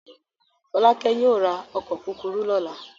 Fọ́lákẹ́ yóò ra ọkọ̀ kúkúrú lọ́la.